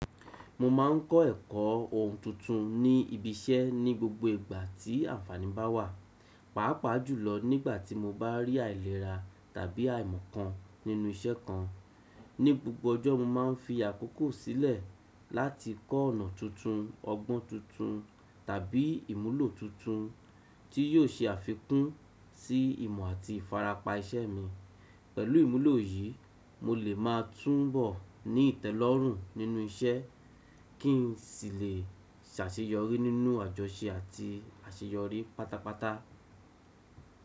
Mo ma ń kọ́ ẹ̀kọ́ ohun tuntun ní ibi iṣẹ́ ní gbogbo ìgbà tí àǹfàní bá wà. Pàápàá jùlọ nígbà tí mo bá rí àìlera tàbí àìmọ̀ kan nínú iṣẹ́ kan. Ní gbogbo ọjọ́, mo má ń fi àkókò sílẹ̀ láti kọ́ ọ̀nà tuntun, ọgbọ́n tuntun tàbí ìmúlò tuntun tí yóò ṣe àfikún sí ìmọ̀ àti ìfarapa iṣẹ́ mi. Pẹ̀lú ìmúlò yìí, mo lè máa túnbọ̀ ní ìtẹ́lọ́rùn nínú iṣẹ́ kí n sì lè ṣàṣeyọrí nínú àjọṣe àti àṣeyọrí pátápátá.